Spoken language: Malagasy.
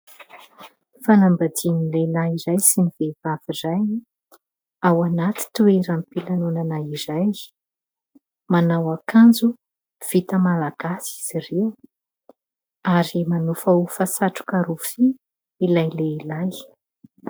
Fanambadian'ny lehilahy iray sy ny vehivavy iray ao anaty toeram-pilanonana iray. Manao akanjo vita malalagasy izy ireo ary manofahofa satroka rofia ilay lehilahy.